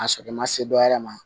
A sɔrɔ i ma se dɔ wɛrɛ ma